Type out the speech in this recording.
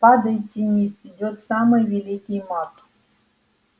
падайте ниц идёт самый великий маг